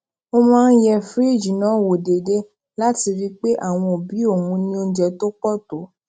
ó máa ń yẹ fìríìjì náà wò déédéé láti rí i pé àwọn òbí òun ní oúnjẹ tó pò tó